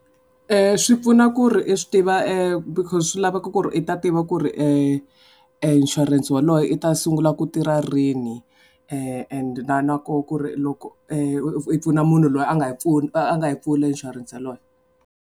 Swi pfuna ku ri i swi tiva because swi laveko ku ri i ta tiva ku ri inshurense waloye i ta sungula ku tirha rini and na na koho ku ri loko i pfuna munhu loyi a nga yi a nga yi pfula inshurense yaloye.